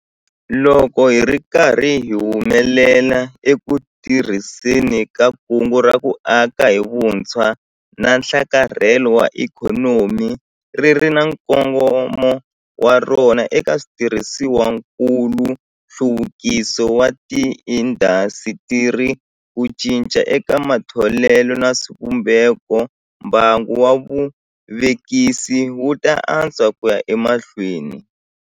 Loko hi ri karhi hi humelela eku tirhiseni ka Kungu ra ku Aka hi Vutshwa na Nhlakarhelo wa Ikhonomi - ri ri na nkongomo wa rona eka switirhisiwakulu, nhluvukiso wa tiindasitiri, ku cinca eka matholelo na swivumbeko - mbangu wa vuvekisi wu ta antswa ku ya emahlweni.